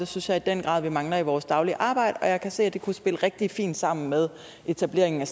synes jeg i den grad vi mangler i vores daglige arbejde og jeg kan se at det kunne spille rigtig fint sammen med etableringen af